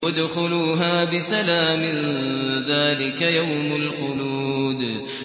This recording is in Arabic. ادْخُلُوهَا بِسَلَامٍ ۖ ذَٰلِكَ يَوْمُ الْخُلُودِ